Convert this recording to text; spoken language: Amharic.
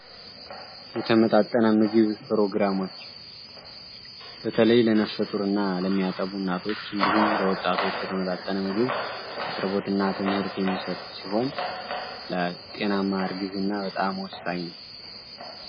የተመጣጠነ ምግብ ፕሮግራሞች በተለይ ለነፍሰጡር እና ለሚያጠቡ እናቶች እንዲሁም ለወጣቶች የተመጣጠነ ምግብ አቅርቦትና ትምህርት የሚሰጥ ሲሆን ለጤናማርጊዝ እና በጣም ወሳይ ነው፡፡